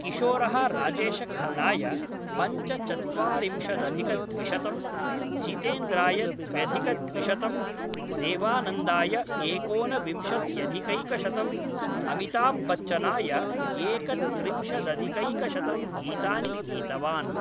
किशोरः राजेशखन्नाय पञ्चचत्वारिंशदधिकद्विशतं, जीतेन्द्राय द्व्यधिकद्विशतं, देवानन्दाय एकोनविंशत्यधिकैकशतं, अमिताभ्बच्चनाय एकत्रिंशदधिकैकशतं गीतानि गीतवान्।